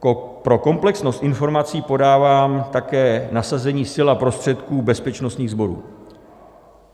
Pro komplexnost informací podávám také nasazení sil a prostředků bezpečnostních sborů.